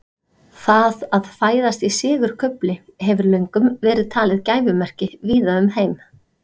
það að fæðast í sigurkufli hefur löngum verið talið gæfumerki víða um heim